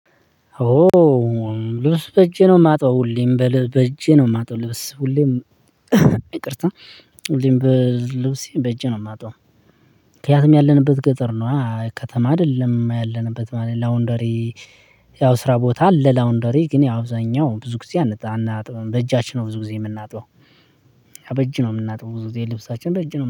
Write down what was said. ኦ ልብስ በእጄ ነው የማጣው ሁሌም በእጄ ነው የማጣው ልብስ ሁሌም ይቅርታ ሁሌም ልብሴን በእጄ ነው የማጥበው። ምክንያቱም ያለንበት ገጠር ነዋ ከተማ አይደለም ያለንበት ማለት ላውንደሪ። ያው ስራ ቦታ ለላውንደሪ ግን አብዛኛው ብዙ ጊዜ አናጥብም በእጃችን ነው ብዙ ጊዜ የምናጥበው። በእጅ ነው የምናጥበው ብዙ ጊዜ ልብሳችን በእጅ ነው